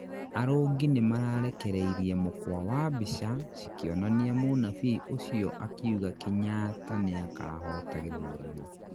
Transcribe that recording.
arũngi nĩmararekereirie mukwa wa mbica cikĩonania munabii ũcio akiũga Kenyatta nĩakahota gĩthurano